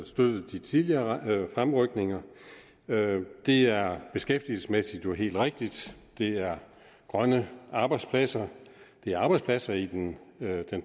støttet de tidligere fremrykninger det er beskæftigelsesmæssigt helt rigtigt det er grønne arbejdspladser det er arbejdspladser i den